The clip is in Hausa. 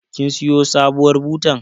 kin siyo sabuwar butar